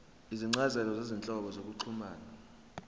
izincazelo zezinhlobo zokuxhumana